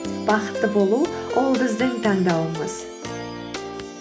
бақытты болу ол біздің таңдауымыз